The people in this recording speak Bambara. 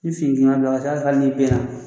Ni fini giriman b'i la, a ca Ala fɛ hali n'i benna